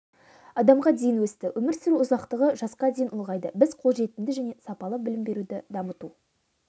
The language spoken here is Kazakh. адамға дейін өсті өмір сүру ұзақтығы жасқа дейін ұлғайды біз қолжетімді және сапалы білім беруді дамыту